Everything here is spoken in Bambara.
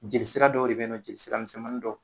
Jeli sira dɔw de bɛ ye nɔɔ, jeli sira misɛnmanidɔ.